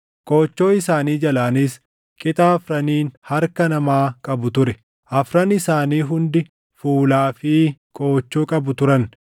Qoochoo isaanii jalaanis qixa afraniin harka namaa qabu ture. Afran isaanii hundi fuulaa fi qoochoo qabu turan;